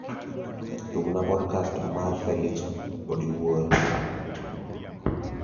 tugna podcast marfelix odiwuor